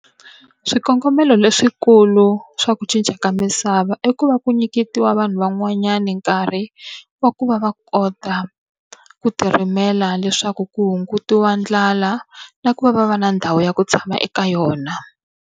Swikongomelo leswikulu swa ku cinca ka misava i ku va ku nyiketiwa vanhu van'wanyana nkarhi wa ku va va kota ku ti rimela leswaku ku hungutiwa ndlala, na ku va va va na ndhawu ya ku tshama eka yona.